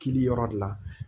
Kili yɔrɔ de la